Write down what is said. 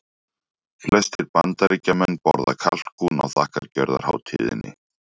Flestir Bandaríkjamenn borða kalkún á þakkargjörðarhátíðinni.